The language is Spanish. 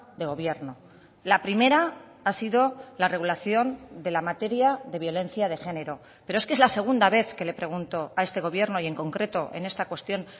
de gobierno la primera ha sido la regulación de la materia de violencia de género pero es que es la segunda vez que le pregunto a este gobierno y en concreto en esta cuestión